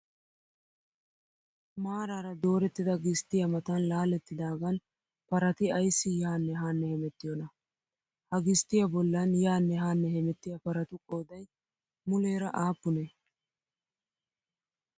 Maaraara doorettida gisttiyaa matan laalettidaagan parati ayssi yaanne haanne hemettiyoonaa? Ha gisttiyaa bollan yaanne haanne hemettiyaa paratu qoodayi muleera aappunee?